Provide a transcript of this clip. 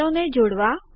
સેલો ને જોડવા